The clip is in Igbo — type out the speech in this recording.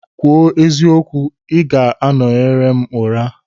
Kwuo eziokwu, ị ga-anọnyere m ụra?